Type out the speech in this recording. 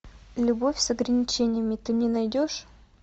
любовь с ограничениями ты мне найдешь